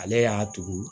Ale y'a tugu